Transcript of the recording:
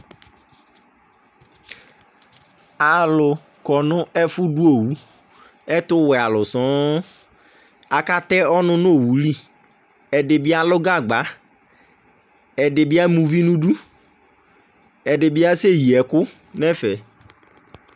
Alʋ kɔ nʋ ɛfʋdʋ owu Ɛtʋwɛalʋ sɔŋ Akatɛ ɔnʋ nʋ owu li Ɛdɩ bɩ alʋ gagba, ɛdɩ bɩ ama uvi nʋ idu, ɛdɩ bɩ asɛyi ɛkʋ nʋ ɛfɛ